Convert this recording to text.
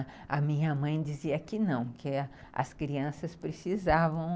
E a minha mãe dizia que não, que as crianças precisavam